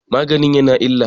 magani ya na illa?